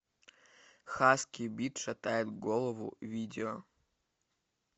хаски бит шатает голову видео